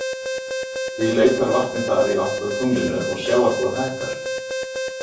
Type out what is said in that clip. Því leitar vatnið þar í átt að tunglinu og sjávarborð hækkar.